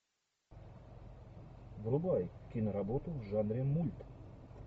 врубай киноработу в жанре мульт